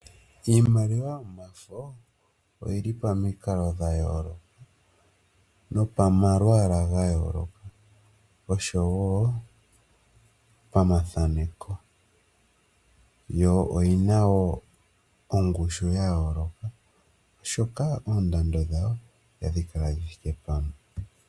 Iimaliwa yomafo oyi li pamikalo dha yooloka, nopamalwaala ga yooloka, osho wo pamathaneko. Yo oyi na wo ongushu yayooloka, oshoka oondando dhayo ohadhi kala dhithike pamwe.